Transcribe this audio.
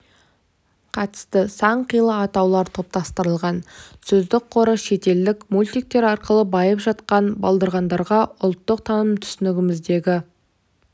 қатысты сан қилы атаулар топтастырылған сөздік қоры шетелдік мультиктер арқылы байып жатқан балдырғандарға ұлттық таным-түсінігімізге